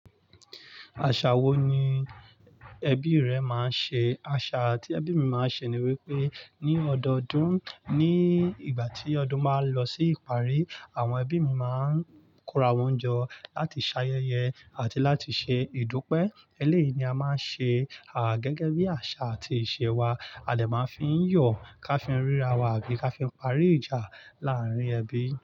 Àṣà wo ni ẹbí rẹ máa ń ṣe? Àṣà tí ẹbí mi máa ń ṣe ni wípé ní ọdọdún, ní ìgbà tí ọdún máa ń lọ sí ìparí, àwọn ẹbí mi máa ń kóra won jo láti ṣayẹyẹ àti láti ṣe ìdúpẹ́. Eléyìí ni a máa ń ṣe, gẹ́gẹ́ bí àṣà àti ìṣe wa. A lè máa ń fi yọ̀ ká fi ń ríra wa àbí ká fi ń parí ìjà láàárín ẹbí.